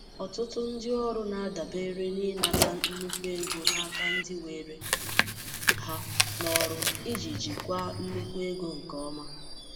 Ọtụtụ ndị ọrụ na-adabere na ịnata nnukwu ego n'aka ndị were ha n'ọrụ iji jikwaa nnukwu ego nke ọma.